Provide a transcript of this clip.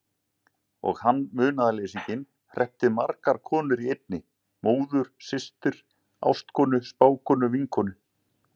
Og hann, munaðarleysinginn, hreppti margar konur í einni: móður systur ástkonu spákonu vinkonu.